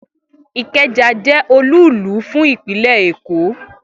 Ikeja je olúùlú fún ìpínlè Èkó